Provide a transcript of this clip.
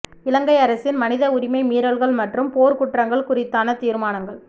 இலங்கை அரசின் மனித உரிமை மீறல்கள் மற்றும் போர்க்குற்றங்கள் குறித்தான தீர்மானங்கள்